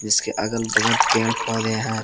इसके आगल बगल पेड़ पौधे हैं।